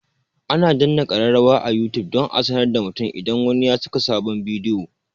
Ana danna kararrawa a youtube don a sanar da mutum idan wani ya saka sabon bidiyo